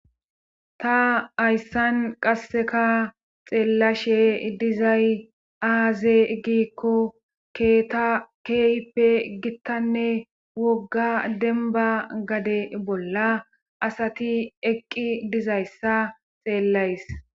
ta hayssan qasseka xeellashe dizay aaze giikko keeta keeyppe gittanne wogga denba gade bolla asati eqqi dizayssa xeellays